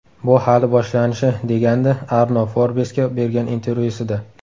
Bu hali boshlanishi”, degandi Arno Forbes’ga bergan intervyusida.